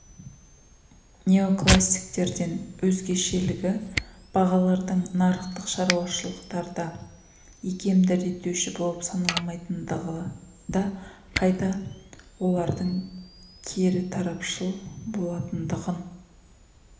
неокласиктерден өзгешелігі бағалардың нарықтық шаруашылықтарда икемді реттеуші болып саналмайтындығында қайта олардың керітарпашыл болатындығын